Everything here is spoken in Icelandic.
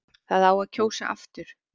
Það á að kjósa aftur